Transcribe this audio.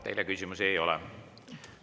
Teile küsimusi ei ole.